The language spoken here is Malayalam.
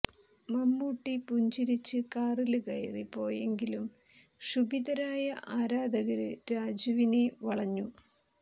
മമ്മൂട്ടി പുഞ്ചിരിച്ച് കാറില് കയറി പോയെങ്കിലും ക്ഷുഭിതരായ ആരാധകര് രാജുവിനെ വളഞ്ഞു